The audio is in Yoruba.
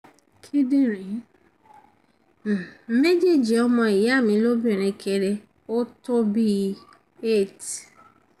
kíndìnrín um méjèèjì ọmọ ìyá mi lóbìnrin kéré ó tó bí i eight